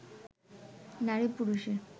নারী-পুরুষের